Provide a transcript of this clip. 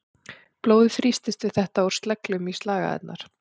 Blóðið þrýstist við þetta úr sleglum í slagæðarnar.